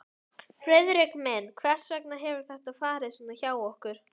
Friðrik minn, hvers vegna hefur þetta farið svona hjá okkur?